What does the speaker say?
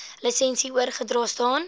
lisensie oorgedra staan